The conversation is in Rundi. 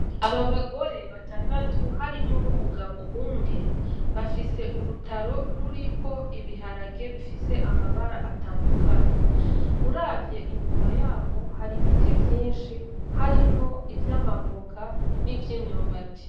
Aba bagore batandatu harimwo n'umugabo umwe bafise urutaro ruriko ibiharage bifise amabara atandukanye uravye inyuma yabo hari ibiti vyinshi harimwo ivy'amavoka nivy'imyumbati.